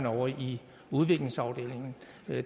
ovre i udviklingsafdelingen